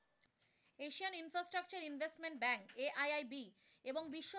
Asian Infrastructure Investment Bank AIIB এবং বিশ্ব,